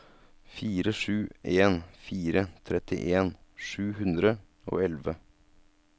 fire sju en fire trettien sju hundre og elleve